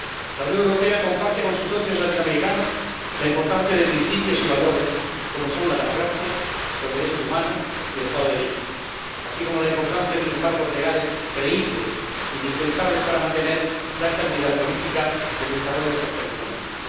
La Unión Europea comparte con sus socios latinoamericanos la importancia de principios y valores como son la democracia, los derechos humanos y el Estado de Derecho, así como la importancia de unos marcos legales creíbles, indispensables para mantener la estabilidad política y el desarrollo social y económico.